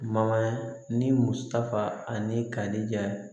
Ma ni musaka ani kari ja